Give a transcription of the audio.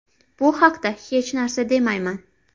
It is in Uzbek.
Bu haqda hech narsa demayman.